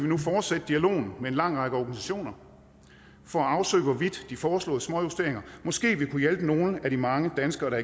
nu fortsætte dialogen med en lang række organisationer for at afsøge hvorvidt de foreslåede småjusteringer måske vil kunne hjælpe nogle af de mange danskere der